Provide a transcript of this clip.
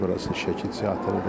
Burası Şəki Teatrıdır.